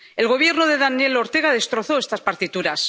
El Gobierno de Daniel Ortega destrozó estas partituras.